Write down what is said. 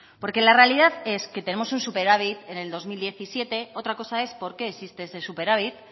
porque la realidad es que tenemos un superávit en el dos mil diecisiete otra cosa es por qué existe ese superávit